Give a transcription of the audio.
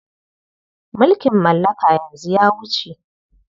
Mulkin mallaka yanzu ya wuce.